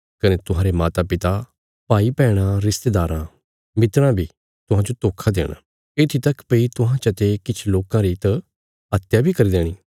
कने तुहांरे मातापिता भाईभैणां रिश्तेदारां मित्राँ बी तुहांजो धोखा देणा येत्थी तक भई तुहां चते किछ लोकां री त हत्या बी करी देणी